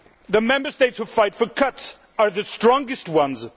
The Member States who fight for cuts are the strongest ones